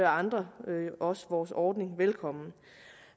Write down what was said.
andre også vores ordning velkommen